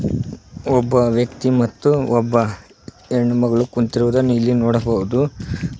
ಒಬ್ಬ ವ್ಯಕ್ತಿ ಮತ್ತು ಒಬ್ಬ ಹೆಣ್ಣು ಮಗಳು ಕುಂತಿರುವುದನ್ನ ಇಲ್ಲಿ ನೋಡಬಹುದು.